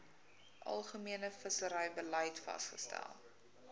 algemene visserybeleid vasgestel